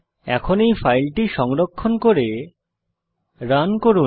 এখন এই ফাইলটি সংরক্ষণ করে রান করুন